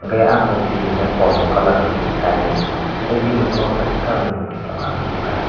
tei ah morti hingke kormo colour ni kainui tei bini okolog o kesag colour ni morti tango ang nohor kha.